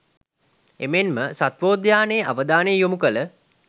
එමෙන්ම සත්වෝද්‍යානයේ අවධානය යොමු කළ